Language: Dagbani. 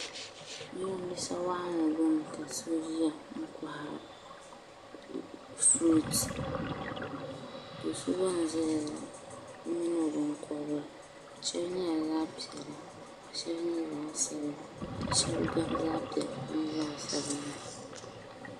Jirambiisa wɔɣinli ɡbuni ka so ʒiya n-kɔhiri furuuti do' so ɡba n-zaya la o mini o biŋkɔbiri shɛba nyɛla zaɣ' piɛla ka shɛba nyɛ zaɣ' sabila ka shɛba ɡabi zaɣ' piɛlli ni zaɣ' sabinli